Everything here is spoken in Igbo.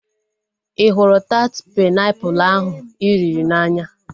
Ị hụrụ taat painiapulu ahu ị riri n'anya?